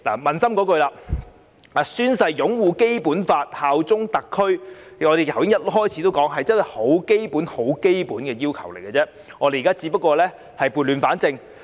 撫心自問，宣誓擁護《基本法》及效忠特區，正如我開始時所說，只是很基本、很基本的要求，我們現在只是撥亂反正。